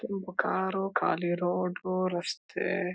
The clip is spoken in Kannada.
ತುಂಬಾ ಕಾರು ಖಾಲಿ ರೋಡ ಉ ರಸ್ತೆ--